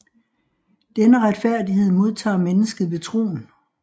Denne retfærdighed modtager mennesket ved troen